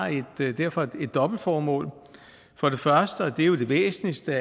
derfor et dobbeltformål for det første og det er jo det væsentligste